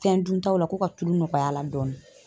Fɛn duntaw la ko ka tulu nɔgɔy'a la dɔɔni.